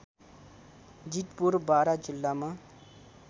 जितपुर बारा जिल्लामा